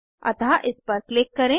अतः इस पर क्लिक करें